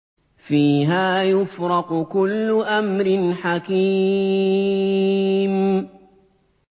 فِيهَا يُفْرَقُ كُلُّ أَمْرٍ حَكِيمٍ